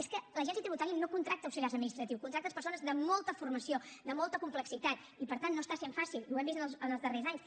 és que l’agència tributària no contracta auxiliars administratius contracta persones de molta formació de molta complexitat i per tant no està sent fàcil i ho hem vist en els darrers anys